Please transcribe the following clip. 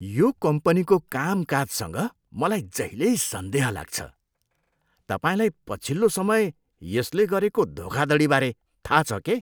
यो कम्पनीको कामकाजसँग मलाई जहिल्यै सन्देह लाग्छ। तपाईँलाई पछिल्लो समय यसले गरेको धोखाधडीबारे थाहा छ के?